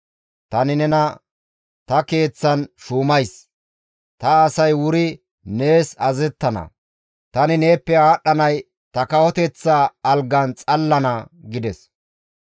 Tani nena ta keeththan shuumays; ta asay wuri nees azazettana; tani neeppe aadhdhanay ta kawoteththa algan xalla gidana» gides.